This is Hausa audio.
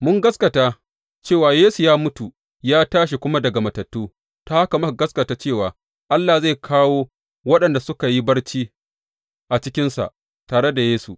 Mun gaskata cewa Yesu ya mutu ya tashi kuma daga matattu, ta haka muka gaskata cewa Allah zai kawo waɗanda suka yi barci a cikinsa tare da Yesu.